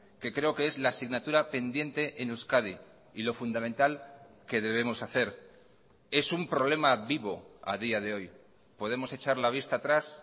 que creo que es la asignatura pendiente en euskadi y lo fundamental que debemos hacer es un problema vivo a día de hoy podemos echar la vista atrás